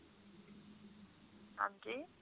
ਹਾਂਜੀ